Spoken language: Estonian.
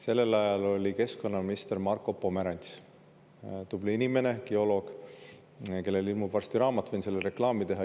Sellel ajal oli keskkonnaminister Marko Pomerants – tubli inimene, geoloog, kellel ilmub varsti raamat, võin sellele reklaami teha.